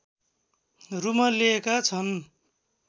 रुमल्लिएका छन्